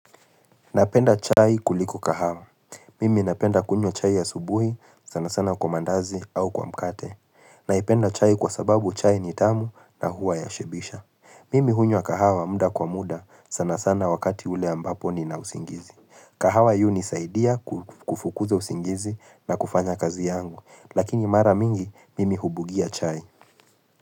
Napenda chai kuliko kahawa. Mimi napenda kunywa chai asubuhi sana sana kwa mandazi au kwa mkate. Naipenda chai kwa sababu chai ni tamu na huwa yashibisha. Mimi hunywa kahawa muda kwa muda sana sana wakati ule ambapo nina usingizi. Kahawa yu hunisaidia kufukuza usingizi na kufanya kazi yangu. Lakini mara mingi, mimi hubugia chai.